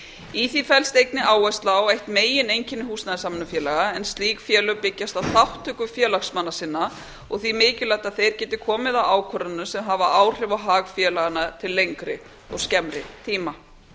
í því felst einnig áhersla á eitt megineinkenni húsnæðissamvinnufélaga en slík félög byggjast á þátttöku félagsmanna sinna og því mikilvægt að þeir geti komið að ákvörðunum sem hafa áhrif á hag félaganna til lengri og skemmri tíma